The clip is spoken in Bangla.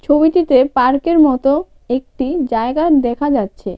ছবিটিতে পার্কের মতো একটি জায়গা দেখা যাচ্ছে.